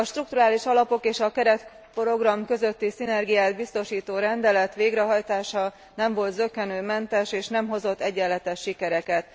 A strukturális alapok és a keretprogram közötti szinergiát biztosító rendelet végrehajtása nem volt zökkenőmentes, és nem hozott egyenletes sikereket.